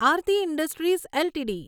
Aarti industries LTD